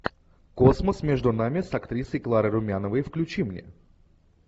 космос между нами с актрисой кларой румяновой включи мне